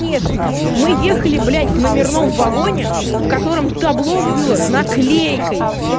конечно мы ехали блять в номерном в вагоне в котором табло была наклейкой